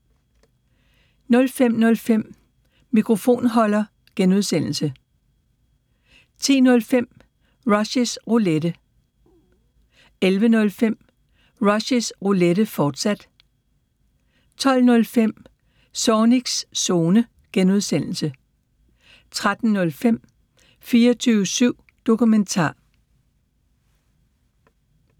05:05: Mikrofonholder (G) 10:05: Rushys Roulette 11:05: Rushys Roulette, fortsat 12:05: Zornigs Zone (G) 13:05: 24syv Dokumentar